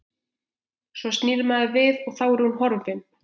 Svo snýr maður við og þá er hún horfin.